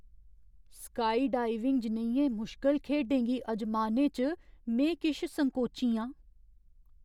Skydiving जनेहियें मुश्कल खेढें गी अजमाने च में किश संकोची आं।